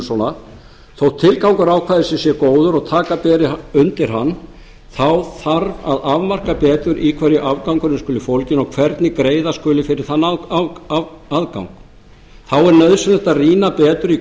svona þó tilgangur ákvæðisins sé góður og taka beri undir hann þá þarf að afmarka betur í hverju afgangurinn skuli fólginn og hvernig greiða skuli fyrir þann aðgang þá er nauðsynlegt að rýna betur í